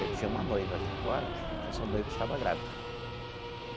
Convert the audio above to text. Eu tinha uma noiva aqui fora e essa noiva estava grávida.